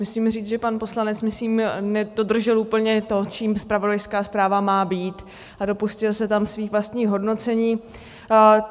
Musím říct, že pan poslanec, myslím, nedodržel úplně to, čím zpravodajská zpráva má být, a dopustil se tam svých vlastních hodnocení.